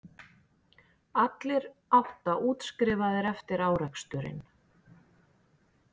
Allir átta útskrifaðir eftir áreksturinn